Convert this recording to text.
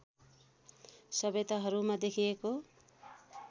सभ्यताहरूमा देखिएको